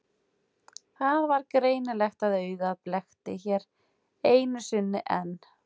Það var greinilegt að augað blekkti hér einu sinni enn.